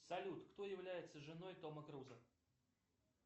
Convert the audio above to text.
салют кто является женой тома круза